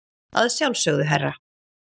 Að sjálfsögðu, herra.